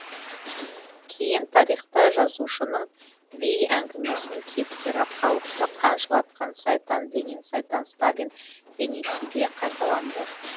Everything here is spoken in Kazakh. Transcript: кейін тарихта жазушының вий әңгімесінің кейіпкері халықты қан жылатқан сайтан ленин сайтан сталин бейнесінде қайталанды